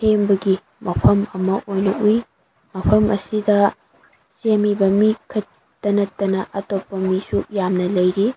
ꯃꯐꯝ ꯑꯃ ꯑꯣꯢꯅ ꯎꯏ ꯃꯐꯝ ꯑꯁꯤꯗ ꯁꯦꯝꯃꯤꯕ ꯃꯤ ꯈꯠꯇ ꯅꯠꯇꯅ ꯑꯇꯣꯞꯄ ꯃꯤꯁꯨꯨ ꯌꯥꯝꯅ ꯂꯩꯔꯤ꯫